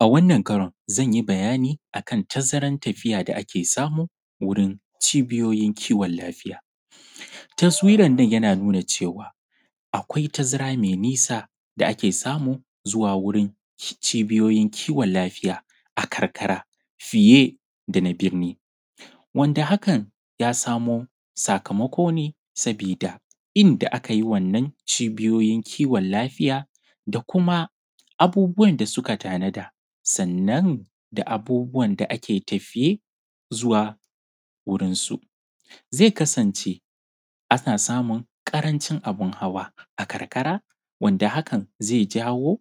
A wannan karan zan yi magana akan tazaran tafiya da ake samu wurin cibiyoyin kiwon lafiya. Taswiran nan yana nuna cewa akwai tazara mai nisa da ake samu zuwa wurin cibiyoyin kiwon lafiya a karkara fiye da na birni wanda hakan ya sami sakamako ne saboda inda aka yi wannan cibiyoyin kiwon lafiya da kuma abubuwan da suka tanada, sannan da abubuwan da ake tafiye zuwa wurin su zai kasance ana samun ƙarancin abun hawa, a karkara wanda hakan yana jawo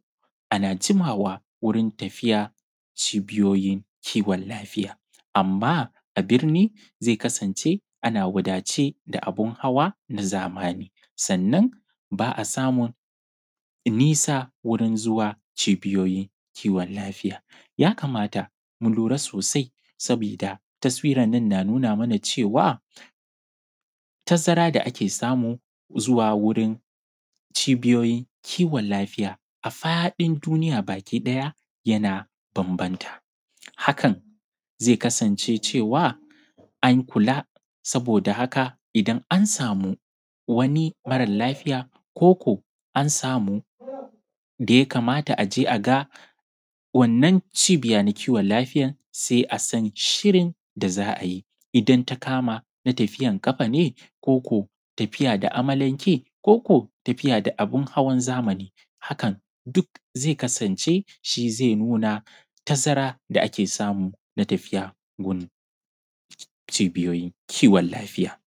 ana jimawa wurin tafiya cibiyoyin kiwon lafiya. Amma a birni zai zama ana wadace da abun hawa na zamani sannan ba a samun nisa zuwa wurin cibiyoyin kiwon lafiya ya kamata mu lura sosai saboda taswiran nan na nuna mana cewa tazaran da ake samu zuwa cibiyoyin kiwon lafiya a fadin duniya bakiɗaya na bambanta hakan zai kasance cewa an kula saboda idan an samu wani mara lafiya ko ko an samu abun da ya kamata a ce an je an ga wannan cibiyan kiwon lafiyan sai a san shirin da za a yi idan ta kama na tafiyan ƙafa ne ko da amalanke ko da abun hawa na zamani duk zai kasance shi ke nuna tazaran da ake samu na tafiya gun cibiyoyin kiwon lafiya.